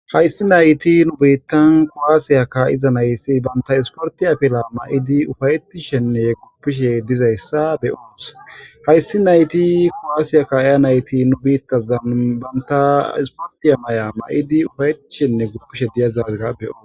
Haysi nayti nu bittan kuwasa ka7iza nayti banta isortiya afila mayidi ufayetishenne guppishe dezaysa be7os.haysi nayti kuwasiya ka7iya nati nu bittazan banta isortiya maya mayidi ufayetishenne guppishe de7izaga beyos.